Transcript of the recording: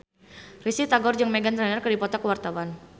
Risty Tagor jeung Meghan Trainor keur dipoto ku wartawan